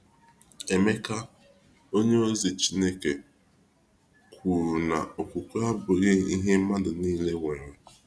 Emeka, onyeozi chineke kwuru na okwukwe abụghị ihe mmadụ niile nwere.